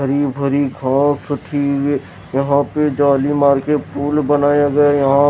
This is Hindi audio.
हरी भरी घास यहाँ पे जाली मार के फूल बनाया गया है यहाँ --